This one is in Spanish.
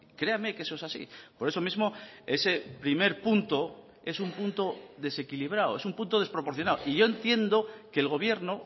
créame que eso es así por eso mismo ese primer punto es un punto desequilibrado es un punto desproporcionado y yo entiendo que el gobierno